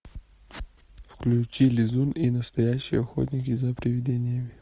включи лизун и настоящие охотники за привидениями